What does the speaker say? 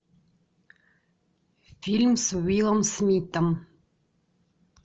фильм с уиллом смитом